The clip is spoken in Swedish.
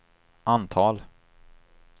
antal